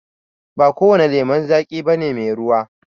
Ba kowane lemon zaƙi bane mai ruwa